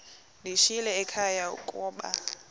ndiyishiyile ekhaya koba